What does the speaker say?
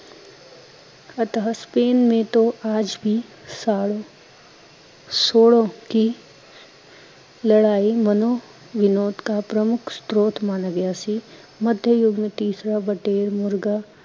ਅਥਾਹ ਸਕ੍ਰੀਨ ਮੈਂ ਆਜ ਬੀ ਸਾਲੋਂ ਸੋਲੋ ਕੀ ਲੜਾਈ ਮਨਵਿਨੋਦ ਕਾ ਪ੍ਰਮੁੱਖ ਸ਼ਰੋਤ ਮਾਨਾ ਗਿਆ ਸੀ, ਮਧਯ ਯੁੱਗ ਮੇ ਤੀਸਰਾ ਵਡਹੇਲ ਮੁਰਗਾ